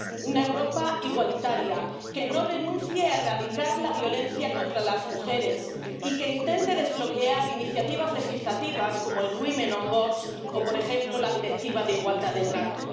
una Europa igualitaria que no renuncie a erradicar la violencia contra las mujeres y que intente desbloquear iniciativas legislativas como el Women on Boards o, por ejemplo, la Directiva sobre la igualdad de trato.